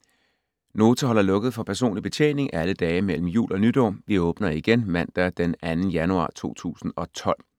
Nota holder lukket for personlig betjening alle dage mellem jul og nytår. Vi åbner igen mandag den 2. januar 2012.